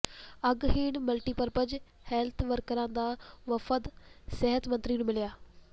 ਅੰਗਹੀਣ multipurpose health ਵਰਕਰਾਂ ਦਾ ਵਫ਼ਦ ਸਿਹਤ ਮੰਤਰੀ ਨੂੰ ਮਿਲਿਆ